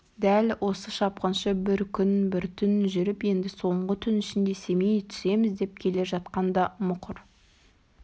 дәл осы шапқыншы бір күн бір түн жүріп енді соңғы түн ішінде семей түсеміз деп келе жатқанда мұқыр